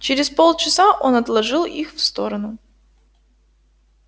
через полчаса он отложил их в сторону